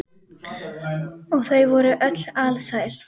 Og þau voru öll alsæl.